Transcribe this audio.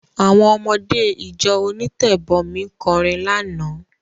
Àwọn ọmọdé ìjọ onítẹ̀bọmi kọrin lánàá.